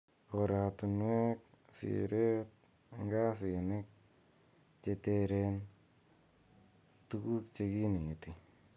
Koratunuek, siret ,ngasinik che teren, tuku che kineti.